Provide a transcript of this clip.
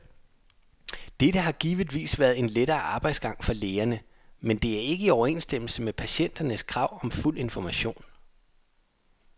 Dette har givetvis været en lettere arbejdsgang for lægerne, men det er ikke i overensstemmelse med patienternes krav om fuld information.